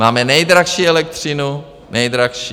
Máme nejdražší elektřinu, nejdražší.